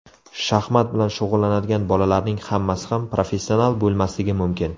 Shaxmat bilan shug‘ullanadigan bolalarning hammasi ham professional bo‘lmasligi mumkin.